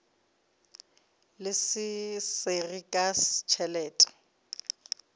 le se sengwe ka tšhelete